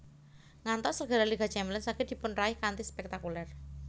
Ngantos gelar Liga Champions saged dipunraih kanthi spektakuler